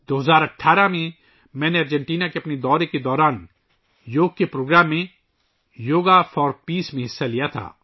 2018 ء میں، میں نے اپنے ارجنٹینا کے دورے کے دوران ایک yoga programme ' yoga for peace ' میں حصہ لیا